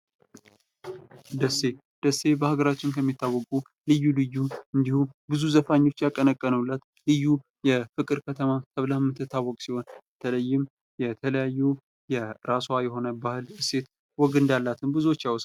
ደሴ፥ ደሴ በሀገራችን ከሚታወቁ ልዩ ልዩ እንዲሁም ብዙ ዘፋኞች ያቀነቀኑለት፥ ልዩ የፍቅር ከተማ ተብላ የምትታወቅ ሲሆን በተለይም የራሷ የሆነ ባህል፥ ወግ፥ እና እሴት እንዳላት ብዙዎች ያወራሉ።